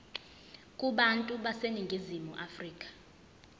kubantu baseningizimu afrika